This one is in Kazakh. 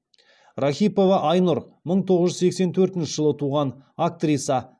рахипова айнұр мың тоғыз жүз сексен төртінші жылы туған актриса